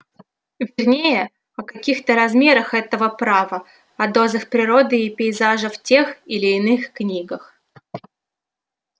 вернее о каких-то размерах этого права о дозах природы и пейзажа в тех или иных книгах